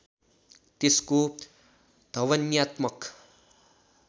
त्यसको ध्वन्यात्मक